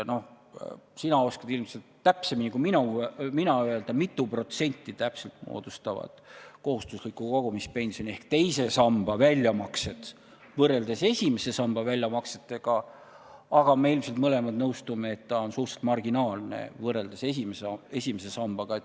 Sina oskad ilmselt minust täpsemini öelda, mitu protsenti moodustavad kohustusliku kogumispensioni ehk teise samba väljamaksed võrreldes esimese samba väljamaksetega, aga me mõlemad ilmselt nõustume, et see arv on suhteliselt marginaalne võrreldes esimese sambaga.